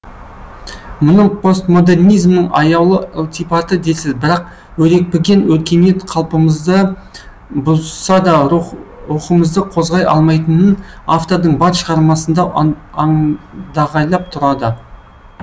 мұны постмодернизмнің аяулы ылтипаты дерсіз бірақ өрекпіген өркениет қалпымызды бұзса да рухымызды қозғай алмайтынын автордың бар шығармасында андағайлап тұрады